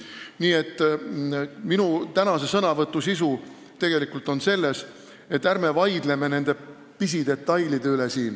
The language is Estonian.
Nii et minu sõnavõtu sisu on tegelikult selles, et ärme vaidleme pisidetailide üle.